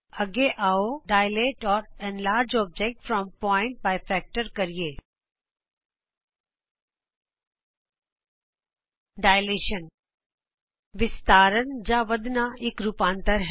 ਅੱਗੇ ਆਉ ਡਾਇਲੇਟ ਜਾਂ enlarge object from point by factor dilate or enlarge object from point by factor ਕਰੀਏ ਵਿਸਤਾਰਨ ਵਿਸਤਾਰਨ ਜਾਂ ਵੱਧਣਾ ਇਕ ਰੂਪਾਂਤਰ ਹੈ